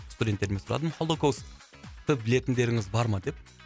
студенттерден сұрадым холокосты білетіндеріңіз бар ма деп